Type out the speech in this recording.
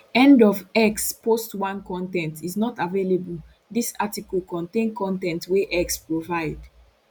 end of x post 1 con ten t is not available dis article contain con ten t wey x provide